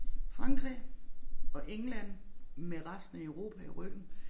Frankrig og England med resten af Europa i ryggen